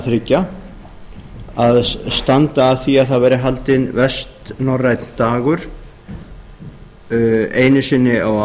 þriggja að standa að því að það verði haldinn vestnorrænn dagur einu sinni á